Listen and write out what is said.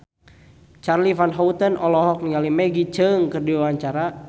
Charly Van Houten olohok ningali Maggie Cheung keur diwawancara